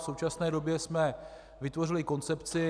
V současné době jsme vytvořili koncepci.